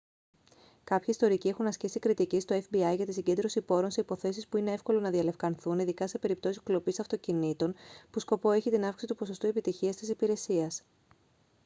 κάποιοι ιστορικοί έχουν ασκήσει κριτική στο fbi για την συγκέντρωση πόρων σε υποθέσεις που είναι εύκολο να διαλευκανθούν ειδικά σε περιπτώσεις κλοπής αυτοκινήτων που σκοπό έχει την αύξηση του ποσοστού επιτυχίας της υπηρεσίας